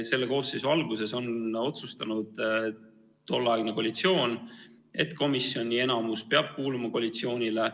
Selle koosseisu alguses otsustas tolleaegne koalitsioon, et enamus peab komisjonis kuuluma koalitsioonile.